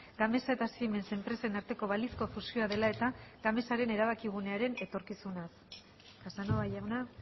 gamesa eta siemens enpresen arteko balizko fusioa dela eta gamesaren erabakigunearen etorkizunaz casanova jauna